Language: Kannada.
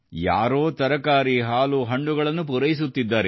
ಯಾರೋ ತರಕಾರಿ ಹಾಲು ಹಣ್ಣುಗಳನ್ನು ಪೂರೈಸುತ್ತಿದ್ದಾರೆ